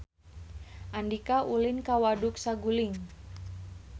Andika ulin ka Waduk Saguling